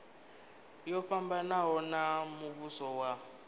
yo fhambanaho ya muvhuso wa